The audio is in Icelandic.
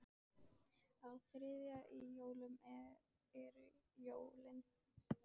Á þriðja í jólum eru jólin.